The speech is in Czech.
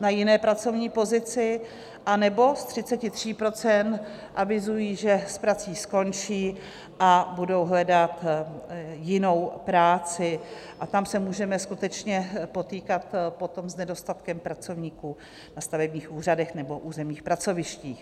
na jiné pracovní pozici, anebo z 33 % avizují, že s prací skončí a budou hledat jinou práci, a tam se můžeme skutečně potýkat potom s nedostatkem pracovníků na stavebních úřadech nebo územních pracovištích.